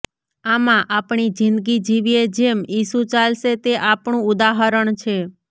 આમાં આપણી જીંદગી જીવીએ જેમ ઇસુ ચાલશે તે આપણું ઉદાહરણ છે